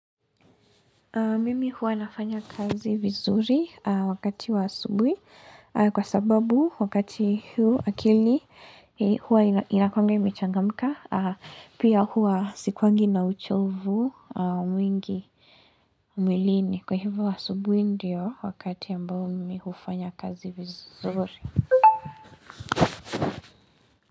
Mimi huwa nafanya kazi vizuri wakati wa asubuhi kwa sababu wakati huu akili huwa inakuangi imechangamka pia huwa sikuwangi na uchovu mwingi mwilini kwa hivi asubuhi ndio wakati ambao mimi hufanya kazi vizuri.